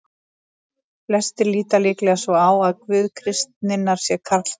Flestir líta líklega svo á að Guð kristninnar sé karlkyns.